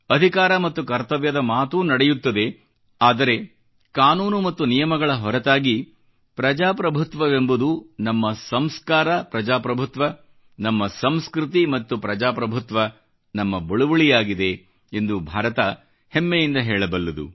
ಅಧಿಕಾರ ಮತ್ತು ಕರ್ತವ್ಯದ ಮಾತೂ ನಡೆಯುತ್ತದೆ ಆದರೆ ಕಾನೂನು ಮತ್ತು ನಿಯಮಗಳ ಹೊರತಾಗಿ ಪ್ರಜಾಪ್ರಭುತ್ವವೆಂಬುದು ನಮ್ಮ ಸಂಸ್ಕಾರ ಪ್ರಜಾಪ್ರಭುತ್ವ ನಮ್ಮ ಸಂಸ್ಕೃತಿ ಮತ್ತು ಪ್ರಜಾಪ್ರಭುತ್ವ ನಮ್ಮ ಬಳುವಳಿಯಾಗಿದೆ ಎಂದು ಭಾರತ ಹೆಮ್ಮೆಯಿಂದ ಹೇಳಬಲ್ಲುದು